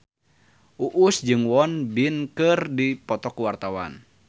Uus jeung Won Bin keur dipoto ku wartawan